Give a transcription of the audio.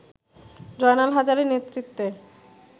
জয়নাল হাজারীর নেতৃত্বে